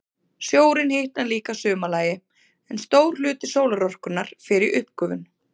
Sjórinn hitnar líka að sumarlagi, en stór hluti sólarorkunnar fer í uppgufun.